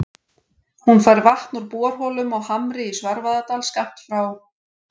Hún fær vatn úr borholum á Hamri í Svarfaðardal, skammt frá